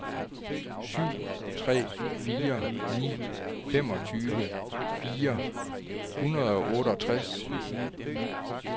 syv tre fire ni femogtyve fire hundrede og otteogtres